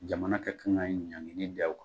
Jamana ka kan ka ɲangini da aw kan